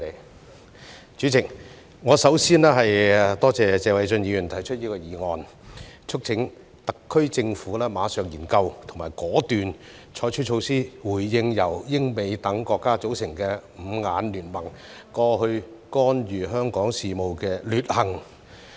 代理主席，我首先多謝謝偉俊議員提出議案，促請特區政府馬上研究及果斷採取措施，回應由英美等國家組成的"五眼聯盟"過去干預香港事務的劣行。